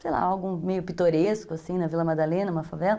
sei lá, algo meio pitoresco, assim, na Vila Madalena, uma favela.